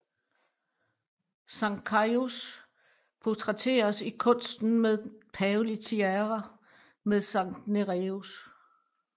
Sankt Caius portrætteres i kunsten med den pavelige tiara med Sankt Nereus